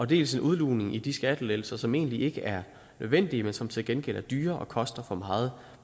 dels en udlugning i de skattelettelser som egentlig ikke er nødvendige men som til gengæld er dyre og koster for meget